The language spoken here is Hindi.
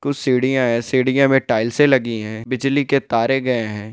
कुछ सीढ़ियां हैं सीढ़ियां में टाइल्स लगी हुई हैं बिजली के तारे गए हैं।